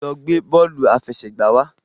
lọ gbé bóòlù afẹsẹgba wá!